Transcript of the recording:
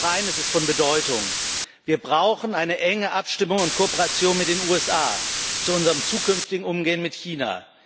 Und noch eines ist von Bedeutung Wir brauchen eine enge Abstimmung und Kooperation mit den USA zu unserem zukünftigen Umgehen mit China.